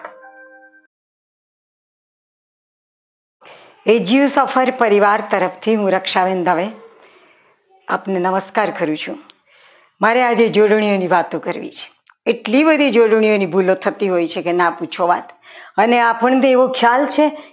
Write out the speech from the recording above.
એજ્યુ સફર પરિવાર તરફથી હું રક્ષાબેન દવે આપણું નમસ્કાર કરું છું મારે આજે જોડણીઓની વાતો કરવી છે એટલી બધી જોડણીઓની ભૂલો થતી હોય છે કે ના પૂછો વાત અને આપણને એવી જાન છે